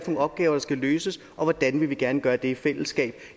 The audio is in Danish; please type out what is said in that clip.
nogle opgaver der skal løses og hvordan vi gerne vil gøre det i fællesskab